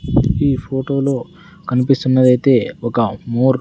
ఈ ఫొటోలో కనిపిస్తున్నదైతే ఒక మోర్ --